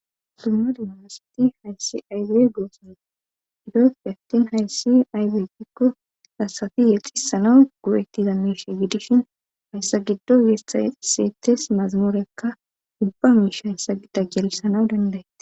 summadumamasati hayssi aybey goosanoa idoofi hattin hayssi aybey dikko lasafi yexissana gu7ettiza miirshe gidishin hayssa giddo yeesaiseetes mazamuurekka ubba miish hayssa gidda gelisana dendae